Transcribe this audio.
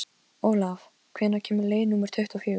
Bóndi þóttist viss um að þar færi konungur Íslands.